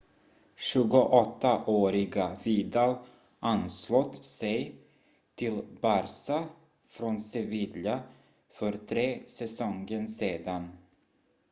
28-åriga vidal anslöt sig till barça från sevilla för tre säsonger sedan